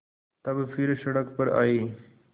तब फिर सड़क पर आये